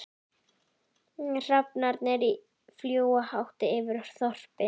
Hrafnarnir fljúga hátt yfir þorpinu.